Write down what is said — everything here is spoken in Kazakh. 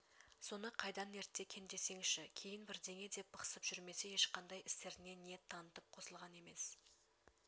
соны қайдан ертті екен десеңші кейін бірдеңе деп бықсып жүрмесе ешқандай істеріне ниет танытып қосылған емес